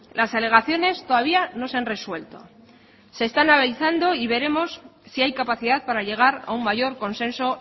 las alegaciones todavía no se han resuelto se está analizando y veremos si hay capacidad para llegar a un mayor consenso